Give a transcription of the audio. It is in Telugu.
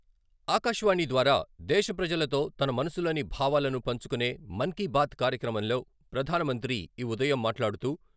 ఆకాశవాణి ద్వారా దేశప్రజలతో తన మనసులోని భావాలను పంచుకునే ' మన్కీబాత్ 'కార్యక్రమంలో ప్రధానమంత్రి ఈ ఉదయం మాట్లాడుతూ..